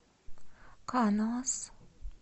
каноас